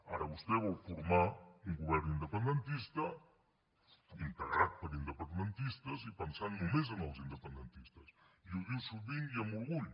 ara vostè vol formar un govern independentista integrat per independentistes i pensant només en els independentistes i ho diu sovint i amb orgull